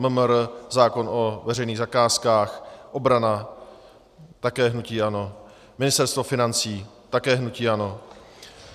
MMR - zákon o veřejných zakázkách, obrana - také hnutí ANO, Ministerstvo financí - také hnutí ANO.